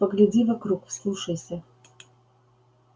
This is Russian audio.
погляди вокруг вслушайся